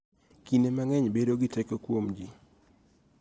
Kinde mang�eny bedo gi teko kuom ji